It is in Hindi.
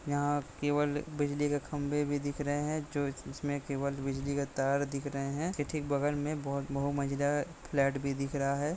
यहाँ केवल बिजली के खम्बे भी दिख रहे है जो जिसमे केवल बिजली के तार दिख रहे है इसके बगल में बहुत मंजिला फ्लैट भी दिख रहा है।